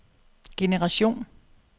generation